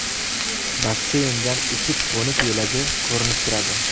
Basseyndan uchib-qo‘nish yo‘lagi ko‘rinib turadi.